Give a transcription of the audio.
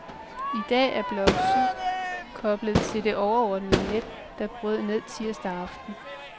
I dag er blok syv koblet til det overordnede net, der brød ned tirsdag aften.